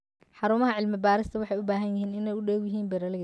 Xarumaha cilmi-baaristu waxay u baahan yihiin inay u dhow yihiin beeralayda.